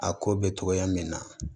A ko bɛ togoya min na